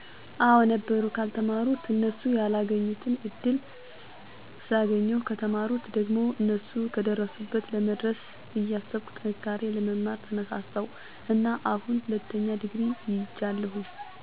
አወ ነበሩ። ከአልተማሩት እነሱ ያላገኙትን እድል ስላገኜሁ፣ ከተማሩት ደሞ እነሱ ከደረሱበት ለመድረስ እያሰብኩ ጠንክሬ ለመማር ተነሳሳሁ እና አሁን ሁለተኛ ዲግሪ ይጃለሁ።